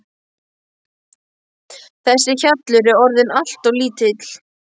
Þessi hjallur er orðinn allt of lítill.